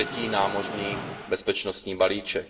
třetí námořní bezpečnostní balíček.